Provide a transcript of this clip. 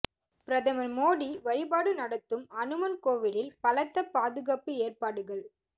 பிரதமர் மோடி வழிபாடு நடத்தும் ஹனுமன் கோவிலில் பலத்த பாதுகாப்பு ஏற்பாடுகள்